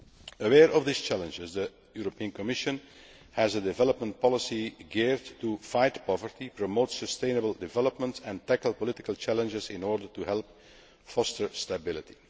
Aware of these challenges, the European Commission has a development policy geared to fight poverty, promote sustainable development and tackle political challenges in order to help foster stability.